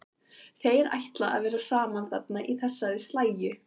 Þeir ætla að vera saman þarna í þessari slægju.